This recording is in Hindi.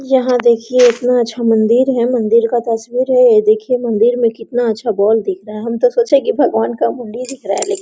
यहाँ देखिये इतना अच्छा मंदिर है मंदिर का तस्वीर है ये देखिये मंदिर में कितना अच्छा बॉल दिख रहा है हम तो सोचे की भगवान का मुंडी दिख रहा है लेकिन --